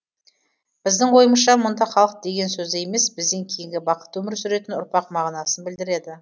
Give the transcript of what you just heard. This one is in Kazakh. біздің ойымызша мұнда халық деген сөзді емес бізден кейінгі бақытты өмір сүретін ұрпақ мағынасын білдіреді